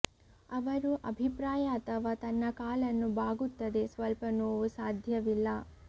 ಅವರು ಅಭಿಪ್ರಾಯ ಅಥವಾ ತನ್ನ ಕಾಲನ್ನು ಬಾಗುತ್ತದೆ ಸ್ವಲ್ಪ ನೋವು ಸಾಧ್ಯವಿಲ್ಲ